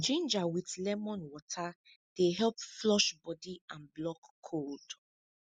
ginger with lemon water dey help flush body and block cold